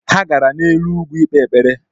Ha gara n’elu ugwu ikpe ekpere